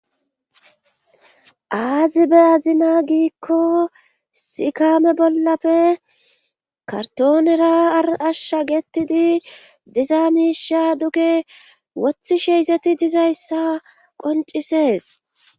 aazi be azina giikko sikame bollappe kartoonera arashsha getidi diza miisha duge wothi sheeyzeti dizayssa qoncisees